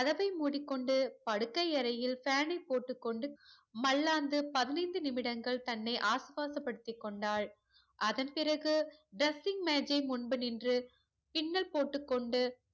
கதவை மூடிக்கொண்டு படுக்கை அறையில் fan யை போட்டுக்கொண்டு மல்லாந்து பதினெய்ந்து நிமிடங்கள் தன்னை ஆஸ்வாஸ படுத்தி கொண்டால் அதன் பிறகு dressing மேஜை முன்பு நின்று பின்னல் போட்டுக்கொண்டு